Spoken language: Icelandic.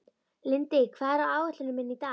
Lindi, hvað er á áætluninni minni í dag?